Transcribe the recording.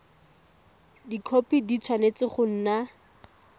dikhopi di tshwanetse go nna